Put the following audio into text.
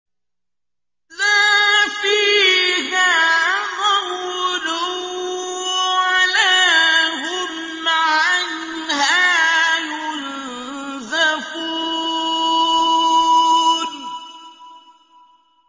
لَا فِيهَا غَوْلٌ وَلَا هُمْ عَنْهَا يُنزَفُونَ